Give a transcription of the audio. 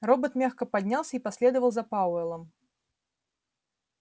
робот мягко поднялся и последовал за пауэллом